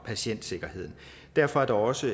patientsikkerheden derfor er der også